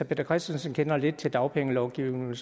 peter christensen kender lidt til dagpengelovgivningen